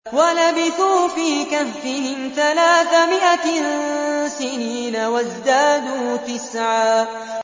وَلَبِثُوا فِي كَهْفِهِمْ ثَلَاثَ مِائَةٍ سِنِينَ وَازْدَادُوا تِسْعًا